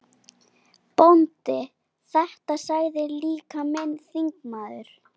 BÓNDI: Þetta sagði líka minn þingmaður